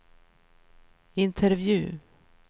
intervju